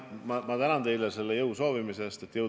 Ma tänan teid selle jõudu soovimise eest!